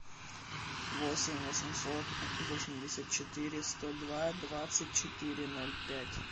восемь восемьсот восемьдесят четыре сто два двадцать четыре ноль пять